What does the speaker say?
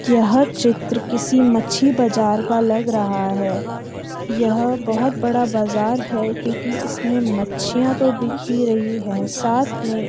यह चित्र किसी मच्छी बाजार का लग रहा है यह बहुत बड़ा बाजार है क्‍योंकि इसमें मच्छियां तो बिक ही रही है साथ में --